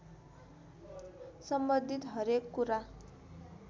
सम्बन्धित हरेक कुरा